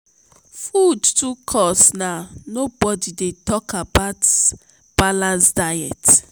food too cost now nobodi dey tok about balanced diet.